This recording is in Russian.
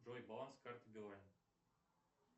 джой баланс карты билайн